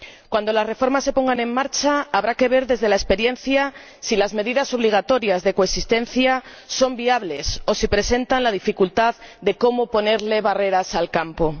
Cuando se pongan en marcha las reformas habrá que ver, desde la experiencia, si las medidas obligatorias de coexistencia son viables o si presentan la dificultad de cómo ponerle barreras al campo.